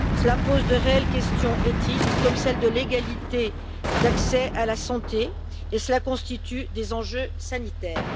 Cela pose de réelles questions éthiques, comme celle de l'égalité d'accès à la santé et cela constitue des enjeux sanitaires.